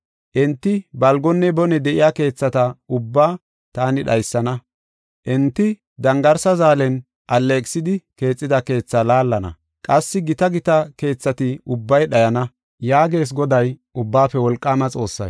Enti balgonne bone de7iya keethata ubbaa taani dhaysana. Enti dangarsa zaalen alleeqisidi, keexida keethaa laallana; qassi gita gita keethati ubbay dhayana” yaagees Goday, Ubbaafe Wolqaama Xoossay.